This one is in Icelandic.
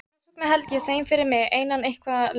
Þess vegna held ég þeim fyrir mig einan eitthvað lengur.